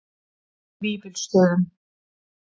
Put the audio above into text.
Vífilsstöðum